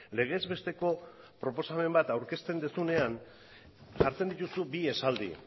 legez besteko proposamen bat aurkezten duzunean jartzen dituzu bi esaldi